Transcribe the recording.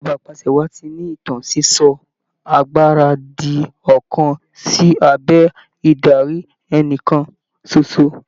Ìjọba apàṣẹwàá ti ní ìtàn sísọ agbára di ọ̀kan sí abẹ́ ìdarí ẹnìkan ṣoṣo.